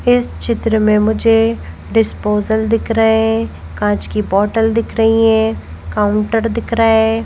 इस चित्र में मुझे डिस्पोजल दिख रहे हैं कांच की बॉटल दिख रही हैं काउंटर दिख रहा है।